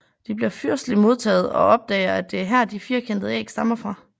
De bliver fyrsteligt modtaget og opdager at det er her de firkantede æg stammer fra